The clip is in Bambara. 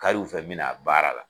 Kariw u fɛ me na baara la.